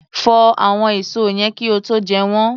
Fọ àwọn èso yẹn kí ó tó jẹ́ wọn.